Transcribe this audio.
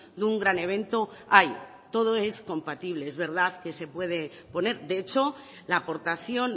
de un gran evento hay todo es compatible es verdad que se puede poner de hecho la aportación